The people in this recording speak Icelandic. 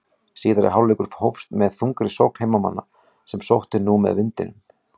Síðari hálfleikur hófst með þungri sókn heimamanna sem sóttu nú með vindinum.